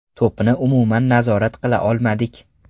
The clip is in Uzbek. To‘pni umuman nazorat qila olmadik.